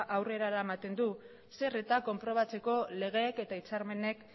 aurrera eramaten du legeek eta hitzarmenek